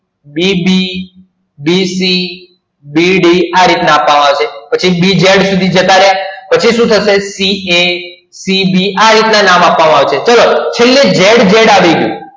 bb bd આરિતના નામ આપવા માં આવસે પછી bz સુધી આવસે પછી સુ થસે ca cb આ રીત ના નામ આપવામાં આવસે ચેલે zz આવસે